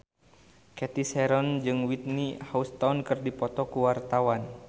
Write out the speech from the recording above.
Cathy Sharon jeung Whitney Houston keur dipoto ku wartawan